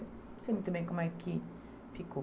Não sei muito bem como é que ficou.